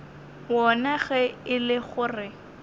wona ge e le gore